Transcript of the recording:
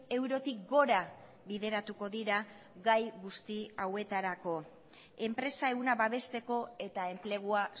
eurotik gora bideratuko dira gai guzti hauetarako enpresa ehuna babesteko eta enplegua